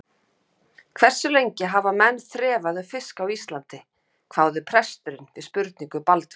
Hversu lengi hafa menn þrefað um fisk á Íslandi, hváði presturinn við spurningu Baldvins.